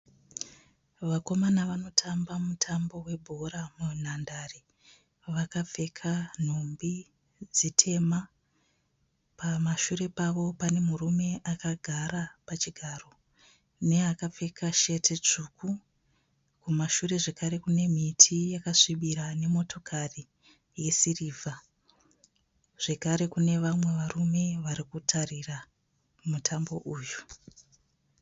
Vakomana varikutamba mutambo webhora munhandare, vakapfeka nhumbi dzitema. Pamashure pavo pane murume akagara pachigaro, neakapfeka sheti tsvuku. Mumashure zvekare kune miti yakasvibira nemotokari yesirivha. Zvekare kune vamwe varume varikutarira mutambo uyu.